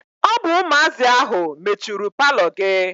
Ọ bụ ụmụazị ahụ mechuru paalọ gị.